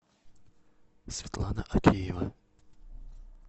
светлана акеева